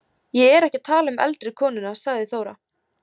Ég er ekki að tala um eldri konuna, sagði Þóra.